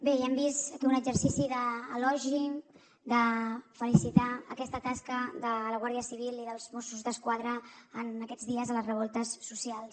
bé ja hem vist aquí un exercici d’elogi de felicitar aquesta tasca de la guàrdia civil i dels mossos d’esquadra en aquests dies a les revoltes socials